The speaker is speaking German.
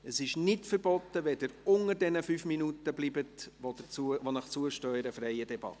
– Es ist nicht verboten, wenn Sie unter den 5 Minuten Redezeit bleiben, die Ihnen in einer freien Debatte zustehen.